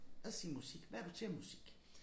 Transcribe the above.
Os sige musik hvad er du til af musik